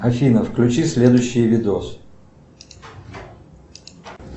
афина включи следующий видос